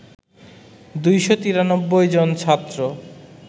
২৯৩ জন ছাত্র